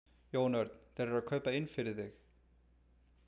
Jón Örn: Þeir eru að kaupa inn fyrir þig?